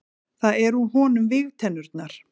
Það eru úr honum vígtennurnar.